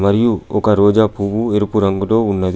మరియు ఒక రోజా పువ్వు ఎరుపు రంగులో ఉన్నది.